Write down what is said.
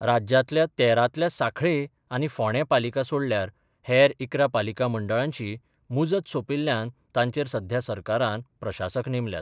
राज्यांतल्या तेरांतल्या सांखळे आनी फोणें पालिका सोडल्यार हेर इकरा पालिका मंडळांची मुजत सोपिल्ल्यान तांचेर सध्या सरकारान प्रशासक नेमल्यात.